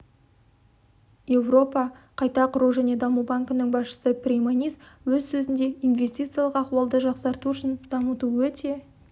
еуропа қайта құру және даму банкінің басшысы прейманис өз сөзінде инвестициялық ахуалды жақсарту үшін дамыту өте